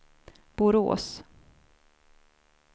Borås